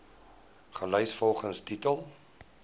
gelys volgens titel